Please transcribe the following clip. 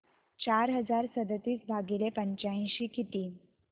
चार हजार सदतीस भागिले पंच्याऐंशी किती